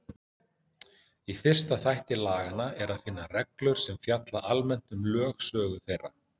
Í fyrsta þætti laganna er að finna reglur sem fjalla almennt um lögsögu þeirra.